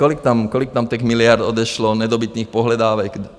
Kolik tam těch miliard odešlo, nedobytných pohledávek?